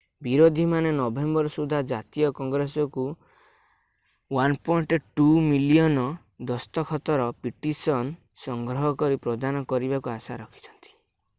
ବିରୋଧୀମାନେ ନଭେମ୍ବର ସୁଦ୍ଧା ଜାତୀୟ କଂଗ୍ରେସକୁ 1.2 ମିଲିୟନ ଦସ୍ତଖତର ପିଟିସନ ସଂଗ୍ରହ କରି ପ୍ରଦାନ କରିବାକୁ ଆଶା ରଖିଛନ୍ତି